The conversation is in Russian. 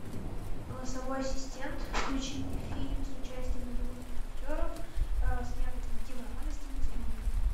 голосовой ассистент включи мне фильм с участием голливудских актеров снятый по мотивам романа стивена спилберга